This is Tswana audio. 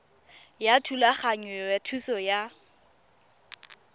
ya thulaganyo ya thuso ya